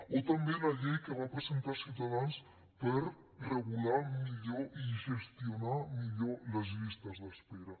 o també la llei que va presentar ciutadans per regular millor i gestionar millor les llistes d’espera